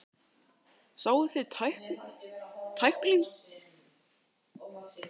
Sáuði tæklinguna hjá mér?